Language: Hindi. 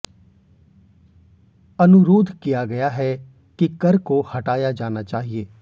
अनुरोध किया गया है कि कर को हटाया जाना चाहिए